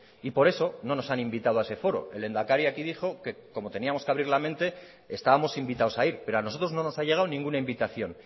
y por eso no nos han invitado a ese foro el lehendakari aquí dijo que como teníamos que abrir la mente estábamos invitados a ir pero a nosotros no nos ha llegado ninguna invitación